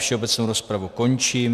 Všeobecnou rozpravu končím.